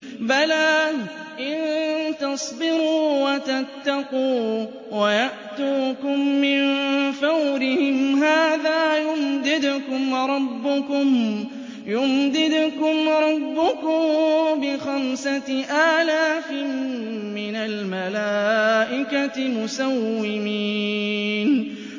بَلَىٰ ۚ إِن تَصْبِرُوا وَتَتَّقُوا وَيَأْتُوكُم مِّن فَوْرِهِمْ هَٰذَا يُمْدِدْكُمْ رَبُّكُم بِخَمْسَةِ آلَافٍ مِّنَ الْمَلَائِكَةِ مُسَوِّمِينَ